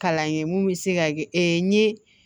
Kalan kɛ mun bɛ se ka kɛ n ye